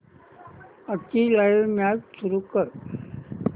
आजची live match सुरू कर